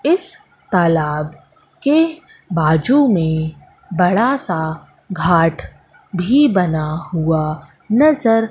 इस तालाब के बाजू में बड़ा सा घाट भी बना हुआ नजर--